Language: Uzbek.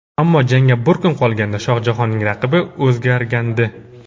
Ammo jangga bir kun qolganda Shohjahonning raqibi o‘zgargandi.